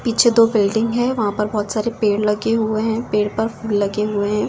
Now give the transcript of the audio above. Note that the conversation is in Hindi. पीछे दो बिल्डिंग है वहां पर बहुत सारे पेड़ लगे हुए हैं पेड़ पर फूल लगे हुए हैं।